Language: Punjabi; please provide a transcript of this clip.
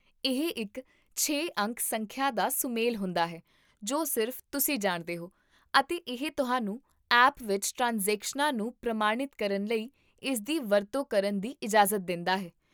ਇਹ ਇੱਕ ਛੇ ਅੰਕ ਸੰਖਿਆ ਦਾ ਸੁਮੇਲ ਹੁੰਦਾ ਹੈ ਜੋ ਸਿਰਫ਼ ਤੁਸੀਂ ਜਾਣਦੇ ਹੋ, ਅਤੇ ਇਹ ਤੁਹਾਨੂੰ ਐਪ ਵਿੱਚ ਟ੍ਰਾਂਜੈਕਸ਼ਨਾਂ ਨੂੰ ਪ੍ਰਮਾਣਿਤ ਕਰਨ ਲਈ ਇਸਦੀ ਵਰਤੋਂ ਕਰਨ ਦੀ ਇਜਾਜ਼ਤ ਦਿੰਦਾ ਹੈ